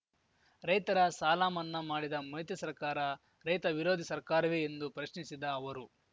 ರೈತರ ಸಾಲಮನ್ನಾ ಮಾಡಿದ ಮೈತ್ರಿ ಸರ್ಕಾರ ರೈತ ವಿರೋಧಿ ಸರ್ಕಾರವೇ ಎಂದು ಪ್ರಶ್ನಿಸಿದ ಅವರು